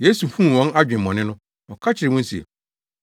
Yesu huu wɔn adwemmɔne no, ɔka kyerɛɛ wɔn se,